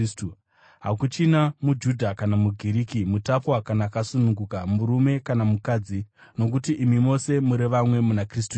Hakuchina muJudha kana muGiriki, mutapwa kana akasununguka, murume kana mukadzi, nokuti imi mose muri vamwe muna Kristu Jesu.